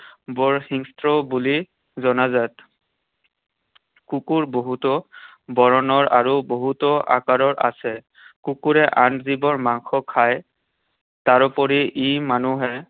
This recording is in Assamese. বৰ হিংস্ৰ বুলি জনাজাত। কুকুৰ বহুতো বৰণৰ আৰু বহুতো আকাৰৰ আছে। কুকুৰে আন জীৱৰ মাংস খায়। তাৰোপৰি ই মানুহে